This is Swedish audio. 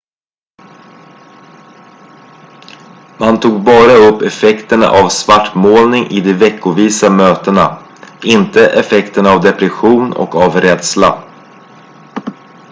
man tog bara upp effekterna av svartmålning i de veckovisa mötena inte effekterna av depression och av rädsla